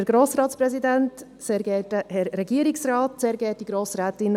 Sandra Hess, Sie haben das Wort.